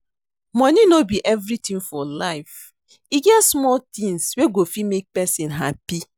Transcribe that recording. Money no be everything for life. E get small things wey go fit make person happy